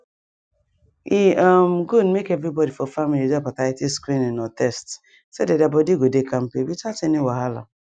e um good make everybody for family do hepatitis screening or test so that their body go dey kampe without any wahala